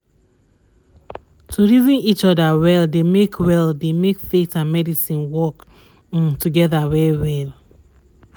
to reason each other well dey make well dey make faith and medicine work um together um well well